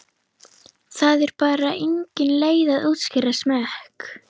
Það er bara engin leið að útskýra smekk.